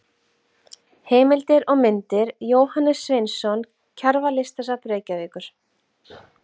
Heimildir og myndir: Jóhannes Sveinsson Kjarval- Listasafn Reykjavíkur.